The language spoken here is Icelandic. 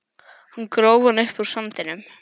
Hann gróf hana upp úr sandinum!